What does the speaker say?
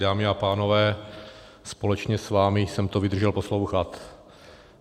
Dámy a pánové, společně s vámi jsem to vydržel poslouchat.